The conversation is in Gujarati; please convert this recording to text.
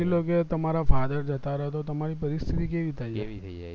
એ લોકો એ તમારા father જતા રે તો તમરી પરિસ્થિતિ કેવી થાય